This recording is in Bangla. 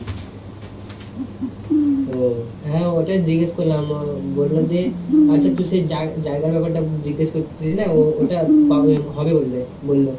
হ্যা, হ্যা ওটা জিজ্ঞেস করলাম উম বললো যে, আচ্ছা তুই সে জায়~ জায়গার ব্যাপার টা জিজ্ঞাস করছিলি না, ওটা হবে বললে বললো